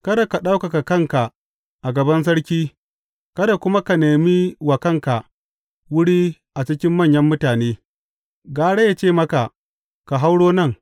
Kada ka ɗaukaka kanka a gaban sarki, kada kuma ka nemi wa kanka wuri a cikin manyan mutane; gara ya ce maka, Ka hauro nan,